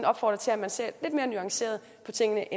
opfordrer til at man ser lidt mere nuanceret på tingene